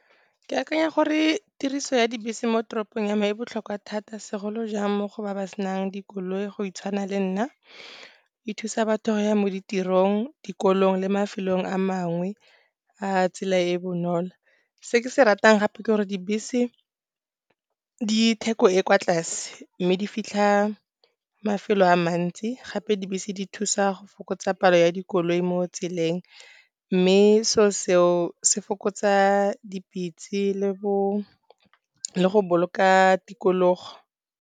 Ke akanya gore tiriso ya dibese mo toropong ya me e botlhokwa thata, segolojang mo go ba ba senang dikoloi go tshwana le nna. E thusa batho go ya mo ditirong, dikolo le mafelong a mangwe a tsela e e bonolo. Se ke se ratang gape ke gore dibese di theko di kwa tlase mme di fitlha mafelo a mantsi. Gape dibese di thusa go fokotsa palo ya dikoloi mo tseleng, mme selo se fokotsa dipitse le go boloka tikologo.